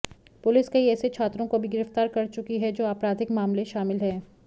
police कई ऐसे छात्रों को भी गिरफ्तार कर चुकी है जो आपराधिक मामले शामिल हैं